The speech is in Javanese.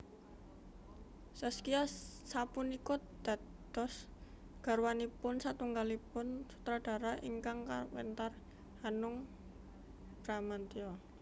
Zaskia sapunika dados garwanipun satunggalipun sutradara ingkang kawentar Hanung Bramantyo